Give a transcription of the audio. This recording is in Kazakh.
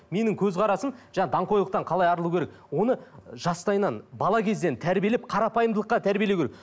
менің көзқарасым жаңа даңғойлықтан қалай арылу керек оны жастайынан бала кезден тәрбиелеп қарапайымдылыққа тәрбиелеу керек